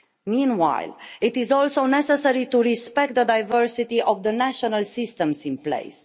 Meanwhile, it is also necessary to respect the diversity of the national systems in place.